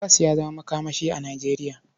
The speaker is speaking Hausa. Gas ya zama makamashi a Nijeriya.